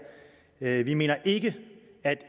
sag vi mener ikke at